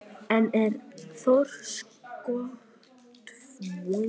En er þorskstofninn sterkur að hans mati?